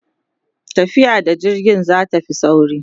tafiya da jirgi zatafi sauri